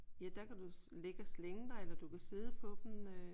Ja der kan du ligge og slænge dig eller du kan sidde på dem øh